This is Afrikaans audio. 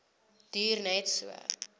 duur net so